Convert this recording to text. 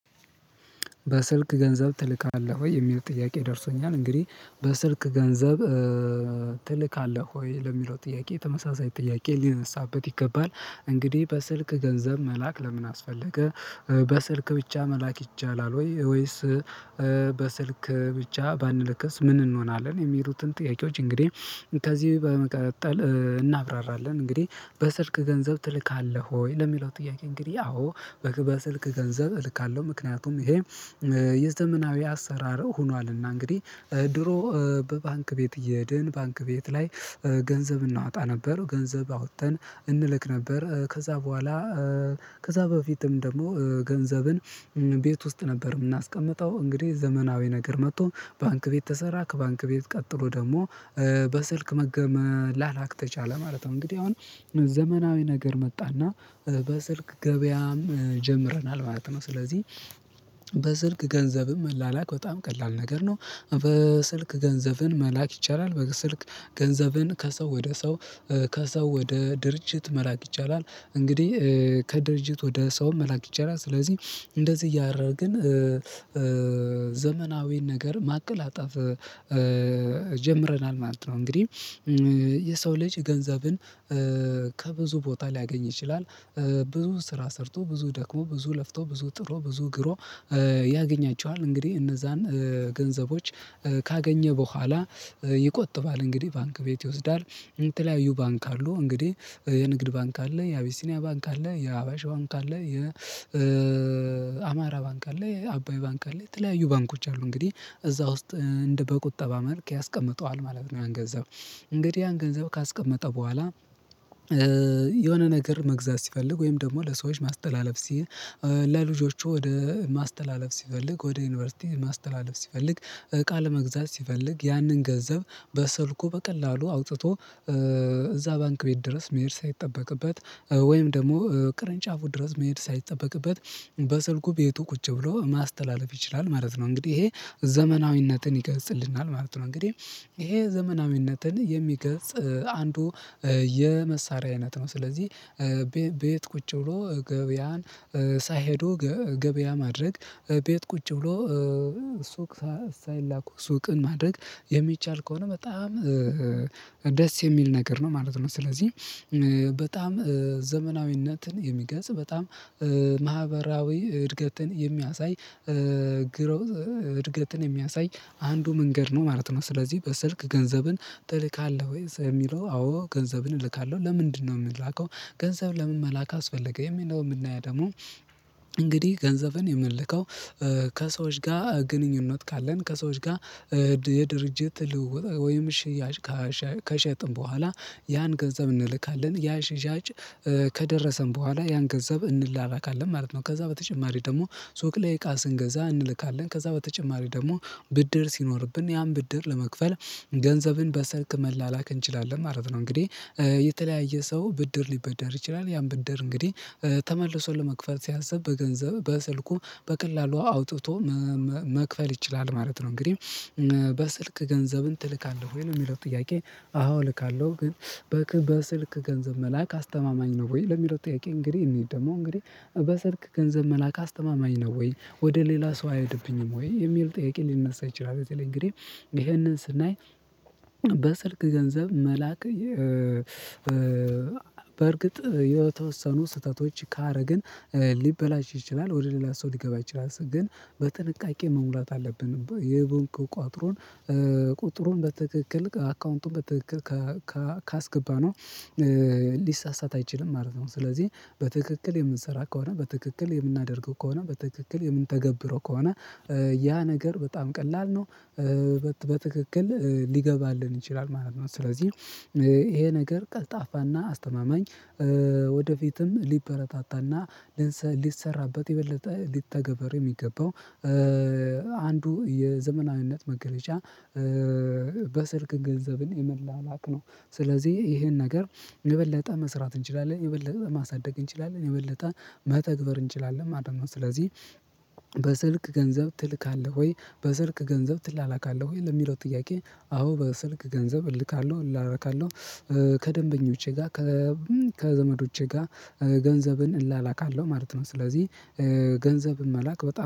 በስልክ ገንዘብ ትልካለህ ወይ የሚል ጥያቄ ደርሶኛል እንግዲህ በስልክ ገንዘብ ትልካለህ ወይ ለሚለው ጥያቄ ተመሳሳይ ጥያቄ ሊነሳበት ይገባል? እንግዲህ በስልክ ገንዘብ መላክ ለምን አስፈለገ? በስልክ ብቻ መላክ ይቻላል ወይ ወይስ በስልክ ብቻ ባንልክስ ምን እንሆናለን የሚሉትን ጥያቄዎች እንግዲህ ከዚህ በመቀጠል እናብራራለን። እንግዲህ በስልክ ገንዘብ ትልካለህ ወይ ለሚለው ጥያቄ እንግዲህ አዎ በስልክ ገንዘብ እልካለሁ። ምክንያቱም ይሄ የዘመናዊ አሰራር ሆኗልና እንግዲህ ድሮ በባንክ ቤት እየሄድን ባንክ ቤት ላይ ገንዘብ እናወጣ ነበር ገንዘብ አውጥተን እንልክ ነበር። ከዛ በኋላ ከዛ በፊትም ደግሞ ገንዘብን ቤት ውስጥ ነበር የምናስቀምጠው እንግዲህ ዘመናዊ ነገር መጥቶ ባንክ ቤት ተሰራ ከባንክ ቤት ቀጥሎ ደግሞ በስልክ መገ መላላክ ተቻለ ማለት ነው። እንግዲህ አሁን ዘመናዊ ነገር መጣና በስልክ ገበያም ጀምረናል ማለት ነው። ስለዚህ በስልክ ገንዘብም መላላክ በጣም ቀላል ነገር ነው። በስልክ ገንዘብን መላክ ይቻላል በስልክ ገንዘብን ከሰው ወደ ሰው ከሰው ወደ ድርጅት መላክ ይቻላል። እንግዲህ ከድርጅት ወደ ሰው መላክ ይቻላል ስለዚህ እንደዚህ እያደረግን ዘመናዊን ነገር ማቀላጣፍ ጀምረናል ማለት ነው። እንግዲህ የሰው ልጅ ገንዘብን ከብዙ ቦታ ሊያገኝ ይችላል ብዙ ስራ ሰርቶ ብዙ ደክሞ ብዙ ለፍቶ ብዙ ጥሮ ብዙ ግሮ ያገኛቸዋል። እንግዲህ እነዛን ገንዘቦች ካገኘ በኋላ ይቆጥባል እንግዲህ ባንክ ቤት ይወስዳል። የተለያዩ ባንክ አሉ እንግዲህ የንግድ ባንክ አለ የአቢሲኒያ ባንክ አለ የአዋሽ ባንክ አለ የ የአማራ ባንክ አለ የአባይ ባንክ አለ የተለያዩ ባንኮች አሉ። እንግዲህ እዛ ውስጥ እንደ በቁጠባ መልክ ያስቀምጠዋል ማለት ነው። ያን ገንዘብ እንግዲህ ያን ገንዘብ ካስቀመጠ በኋላ የሆነ ነገር መግዛት ሲፈልግ ወይም ደግሞ ለሰዎች ማስተላለፍ ሲይ ለልጆቹ ወደ ማስተላለፍ ሲፈልግ ወደ ዩኒቨርሲቲ ማስተላለፍ ሲፈልግ እቃ ለመግዛት ሲፈልግ ያንን ገንዘብ በስልኩ በቀላሉ አውጥቶ እዛ ባንክ ቤት ድረስ መሄድ ሳይጠበቅበት ወይም ደግሞ ቅርንጫፉ ድረስ መሄድ ሳይጠበቅበት በስልኩ ቤቱ ቁጭ ብሎ ማስተላለፍ ይችላል ማለት ነው። እንግዲህ ይሄ ዘመናዊነትን ይገልጽናል ማለት ነው። እንግዲህ ይሄ ዘመናዊነትን የሚገልጽ አንዱ የመሳሪያ አይነት ነው። ስለዚህ ቤት ቁጭ ብሎ ገበያን ሳይሄዱ ገበያ ማድረግ ቤት ቁጭ ብሎ ሱቅ ሳይላኩ ሱቅን ማድረግ የሚቻል ከሆነ በጣም ደስ የሚል ነገር ነው ማለት ነው። ስለዚህ በጣም ዘመናዊነትን የሚገልጽ በጣም ማህበራዊ እድገትን የሚያሳይ ግሮዝ እድገትን የሚያሳይ አንዱ መንገድ ነው ማለት ነው። ስለዚህ በስልክ ገንዘብን ትልካለህ ወይ የሚለው አዎ ገንዘብን እልካለሁ። ለምንድነው የምላከው ገንዘብ ለምን መላክ አስፈለገ? የምንለው የምናየው ደግሞ እንግዲህ ገንዘብን የምንልከው ከሰዎች ጋር ግንኙነት ካለን ከሰዎች ጋር የድርጅት ልውውጥ ወይም ሽያጭ ከሸጥን በኋላ ያን ገንዘብ እንልካለን ያ ሻጭ ከደረሰን በኋላ ያን ገንዘብ እንላላካለን ማለት ነው። ከዛ በተጨማሪ ደግሞ ሱቅ ላይ እቃ ስንገዛ እንልካለን ከዛ በተጨማሪ ደግሞ ብድር ሲኖርብን ያን ብድር ለመክፈል ገንዘብን በስልክ መላላክ እንችላለን ማለት ነው። እንግዲህ የተለያየ ሰው ብድር ሊበደር ይችላል ያን ብድር እንግዲህ ተመልሶ ለመክፈል ሲያስብ በገንዘብ በስልኩ በቀላሉ አውጥቶ መክፈል ይችላል ማለት ነው። እንግዲህ በስልክ ገንዘብን ትልካለህ ወይ ነው የሚለው ጥያቄ? አዎ ልካለሁ ግን በስልክ ገንዘብ መላክ አስተማማኝ ነው ወይ ለሚለው ጥያቄ እንግዲህ እንሂድ ደግሞ እንግዲህ በስልክ ገንዘብ መላክ አስተማማኝ ነው ወይ ወደ ሌላ ሰው አይሄድብኝም ወይ የሚል ጥያቄ ሊነሳ ይችላል? የት በተለይ እንግዲህ ይህንን ስናይ በስልክ ገንዘብ መላክ በእርግጥ የተወሰኑ ስህተቶች ካረግን ሊበላሽ ይችላል ወደ ሌላ ሰው ሊገባ ይችላል። ግን በጥንቃቄ መሙላት አለብን የቁጥሩን ቁጥሩን በትክክል አካውንቱን በትክክል ካስገባነው ሊሳሳት አይችልም ማለት ነው። ስለዚህ በትክክል የምንሰራ ከሆነ በትክክል የምናደርገው ከሆነ በትክክል የምንተገብረው ከሆነ ያ ነገር በጣም ቀላል ነው። በትክክል ሊገባልን ይችላል ማለት ነው። ስለዚህ ይሄ ነገር ቀልጣፋና አስተማማኝ ወደፊትም ሊበረታታና ሊሰራበት የበለጠ ሊተገበር የሚገባው አንዱ የዘመናዊነት መገለጫ በስልክ ገንዘብን የመላላክ ነው። ስለዚህ ይሄን ነገር የበለጠ መስራት እንችላለን የበለጠ ማሳደግ እንችላለን የበለጠ መተግበር እንችላለን ማለት ነው። ስለዚህ በስልክ ገንዘብ ትልካለህ ወይ በስልክ ገንዘብ ትላላካለህ ወይ ለሚለው ጥያቄ አዎ በስልክ ገንዘብ እልካለሁ እላላካለሁ ከደንበኞቼ ጋር ከ ከዘመዶቼ ጋር ገንዘብን እላላካለሁ ማለት ነው። ስለዚህ ገንዘብን መላክ በጣም